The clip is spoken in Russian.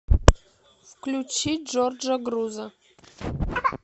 включи джорджа груза